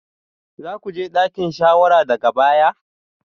Za ku je dakin shawara daga baya?